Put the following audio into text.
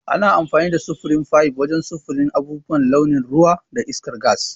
Ana amfani da sufurin fayif wajen sufurin abubuwan launin ruwa da iskar gas.